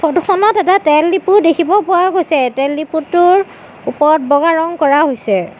Photo খনত এটা তেলদিপু দেখিব পোৱা গৈছে তেলদিপুটোৰ ওপৰত বগা ৰঙ কৰা হৈছে।